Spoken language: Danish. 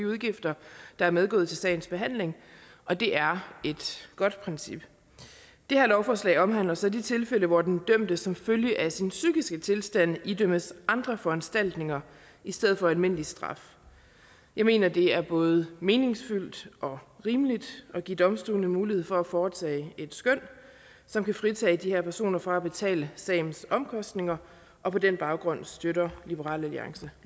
udgifter der er medgået til sagens behandling og det er et godt princip det her lovforslag omhandler så de tilfælde hvor den dømte som følge af sin psykiske tilstand idømmes andre foranstaltninger i stedet for almindelig straf jeg mener at det er både meningsfyldt og rimeligt at give domstolene mulighed for at foretage et skøn som kan fritage de her personer fra at betale sagens omkostninger og på den baggrund støtter liberal alliance